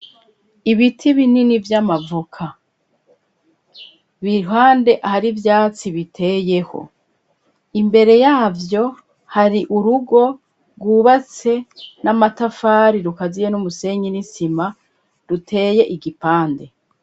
ibiti binini vy'amavuka biriruhande hari ivyatsi biteyeho imbere yavyo hari urugo rwubatse n'amatafari rukaziye n'umusenyi n'isima ruteye igipande